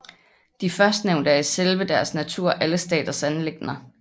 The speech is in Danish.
De førstnævnte er i selve deres natur alle staters anliggende